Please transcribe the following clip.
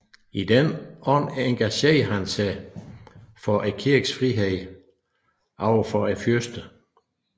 I den ånd engagerede han sig for kirkens frihed over for fyrsterne